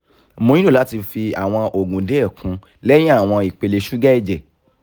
mo nilo lati fi awọn oogun diẹ kun lẹhin awọn ipele suga ẹjẹ